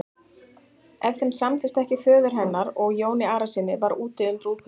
Ef þeim samdist ekki föður hennar og Jóni Arasyni var úti um brúðkaupið.